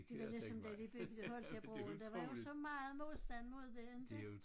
Det var ligesom da de byggede Holkjær broen der var jo så meget modstand mod det inte